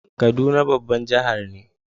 Kaduna babban jihar ne.